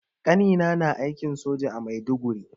Ƙanina na aikin soja a Maiduguri.